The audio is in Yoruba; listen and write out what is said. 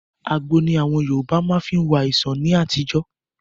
Àgbo ní àwọn Yorùbá má fí ń wo àìsàn ní àtijọ́.